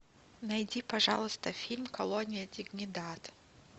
найди пожалуйста фильм колония дигнидад